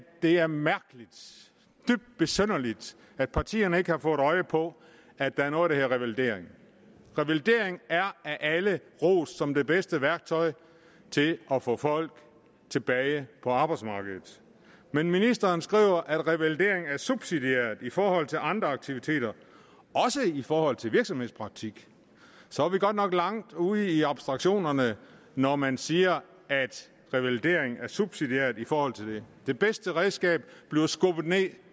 det er mærkeligt dybt besynderligt at partierne ikke har fået øje på at der er noget revalidering revalidering er af alle rost som det bedste værktøj til at få folk tilbage på arbejdsmarkedet men ministeren skriver at revalidering er subsidiært i forhold til andre aktiviteter også i forhold til virksomhedspraktik så er vi godt nok langt ude i abstraktionerne når man siger at revalidering er subsidiært i forhold til det det bedste redskab bliver skubbet ned